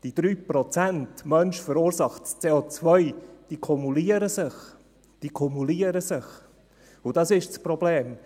Die 3 Prozent durch den Menschen verursachtes CO kumulieren sich – diese kumulieren sich! –, und das ist das Problem: